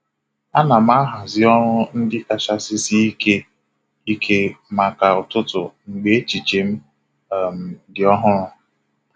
A na m ahazi ọrụ ndị kachasị sie Ike Ike maka ụtụtụ mgbe echiche m um dị ọhụrụ.